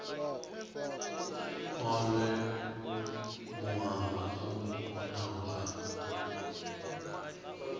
olwe muhanga u konaho kha